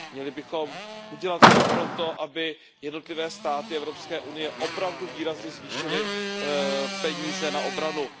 Měli bychom udělat vše pro to, aby jednotlivé státy EU opravdu výrazně zvýšily peníze na obranu.